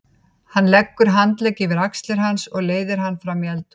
Hann leggur handlegg yfir axlir hans og leiðir hann fram í eldhús.